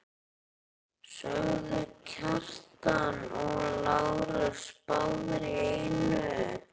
sögðu Kjartan og Lárus báðir í einu.